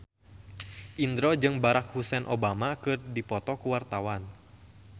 Indro jeung Barack Hussein Obama keur dipoto ku wartawan